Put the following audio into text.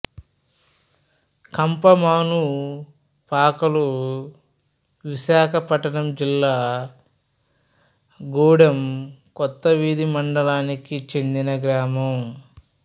కంపమానుపాకలు విశాఖపట్నం జిల్లా గూడెం కొత్తవీధి మండలానికి చెందిన గ్రామం